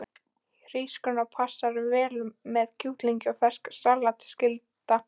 Hrísgrjón passa vel með kjúklingi og ferskt salat er skylda.